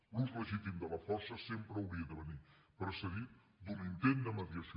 l’ús legítim de la força sempre hauria de venir precedit d’un intent de mediació